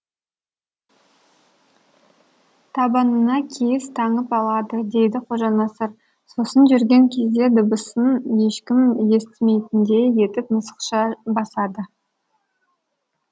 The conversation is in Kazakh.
табанына киіз таңып алады дейді қожанасыр сосын жүрген кезде дыбысын ешкім естімейтіндей етіп мысықша басады